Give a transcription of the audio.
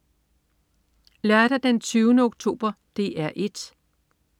Lørdag den 20. oktober - DR 1: